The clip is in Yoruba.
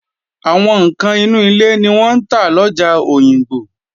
Àwọn ǹkan inú ilé ni wọ́n ń tà lọjà Òyìngbò